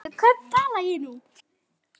Við hvern tala ég nú?